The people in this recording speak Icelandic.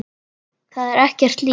Það er ekkert líf.